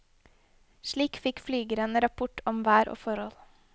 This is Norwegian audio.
Slik fikk flygeren rapport om vær og forhold.